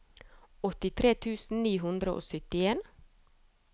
åttitre tusen ni hundre og syttien